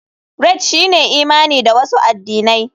Rite shine imani da wasu addinai.